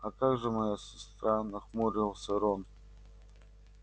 а как же моя сестра нахмурился рон